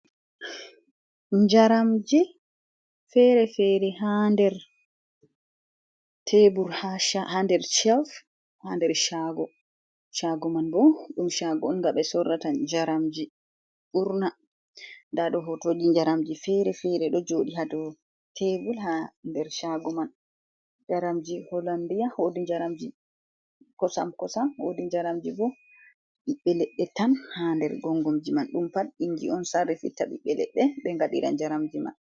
Jaramji fere-fere ha nder tebul ha nder chev ha nder chago, chago man bo ɗum chago on nga be sorrata jaramji, ɓurna nda ɗo hotoji jaramji fere-fere ɗo joɗi ha dou tebul, ha nder jaramji holandia, wodi jaramji kosam kosam, wodi jaramji bo ɓiɓɓe leɗɗe tan ha nder gongomji man ɗum pat ingi on sarrifitta ɓiɓɓe leɗɗe ɓe ngaɗira jaramji man.